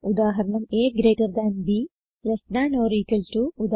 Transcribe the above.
ഉദാഹരണം160a GT b less than or equal to